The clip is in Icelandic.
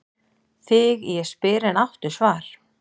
Þig ég spyr en áttu svar?